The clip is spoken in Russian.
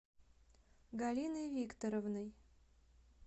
галиной викторовной